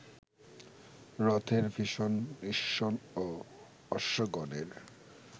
রথের ভীষণ নিস্বন ও অশ্বগণের